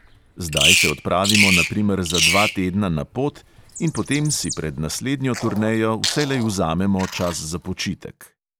Zdaj se odpravimo na primer za dva tedna na pot in potem si pred naslednjo turnejo vselej vzamemo čas za počitek.